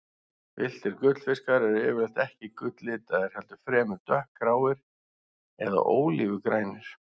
Villtir gullfiskar eru yfirleitt ekki gulllitaðir, heldur fremur dökkgráir eða ólífugrænir.